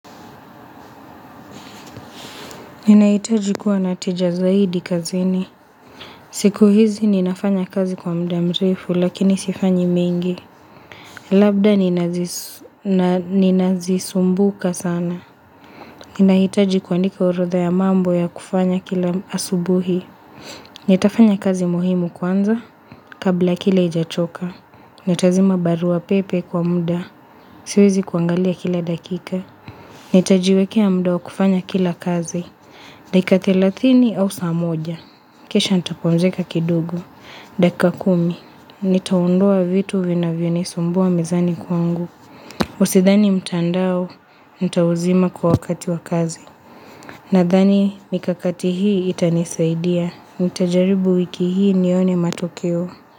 Ninahitaji kuwa natija zaidi kazini. Siku hizi ninafanya kazi kwa muda mrefu lakini sifanyi mingi. Labda ninazisumbuka sana. Ninahitaji kuandika urodha ya mambo ya kufanya kila asubuhi. Nitafanya kazi muhimu kwanza kabla kile ijachoka. Natazima barua pepe kwa muda. Siwezi kuangalia kila dakika. Nitajiwekea mda wa kufanya kila kazi. Dekati thelathini au saa moja. Kisha nitapumzika kidogo. Dakika kumi. Nitaondoa vitu vinavionisumbua mizani kwangu. Usithani mtandao, nitauzima kwa wakati wa kazi. Nadhani, nikakati hii itanisaidia. Mitajaribu wiki hii nione matokeo.